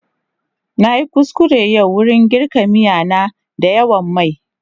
Na yi kuskure yau wurin girka miya na da yawan mai.